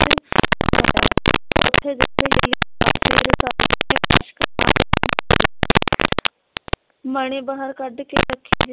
ਮਣੀ ਬਾਹਰ ਕੱਢ ਕੇ